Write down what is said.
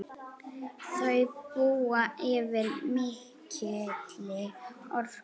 Þau búa yfir mikilli orku.